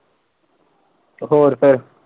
ਹੋਰ ਫਿਰ?